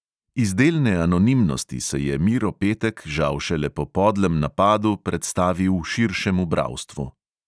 Iz delne anonimnosti se je miro petek žal šele po podlem napadu predstavil širšemu bralstvu.